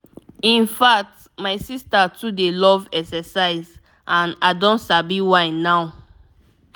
in fact my sister too dey love exercise and i don sabi why now.